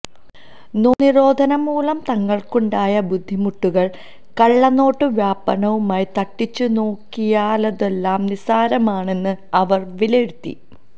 നോട്ടുനിരോധനം മൂലം തങ്ങള്ക്കുണ്ടായ ബുദ്ധിമുട്ടുകള് കള്ളനോട്ടു വ്യാപനവുമായി തട്ടിച്ചുനോക്കിയാല് തുലോം നിസ്സാരമാണെന്ന് അവര് വിലയിരുത്തി